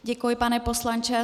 Děkuji, pane poslanče.